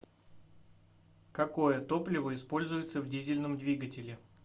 какое топливо используется в дизельном двигателе